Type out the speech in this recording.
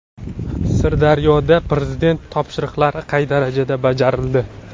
Sirdaryoda Prezident topshiriqlari qay darajada bajarildi?.